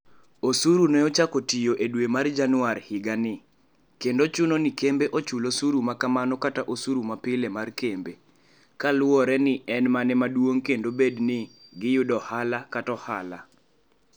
Osuru ne ochako tiyo e dwe mar Januar higani, kendo chuno ni kembe ochul osuru ma kamano kata osuru mapile mar kembe, kaluwore ni en mane maduong' kendo bed ni giyudo ohala kata ohala.